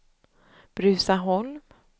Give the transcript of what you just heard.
Bruzaholm